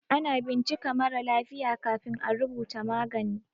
Ana bincika marà lafiya kafin à rubuta magani.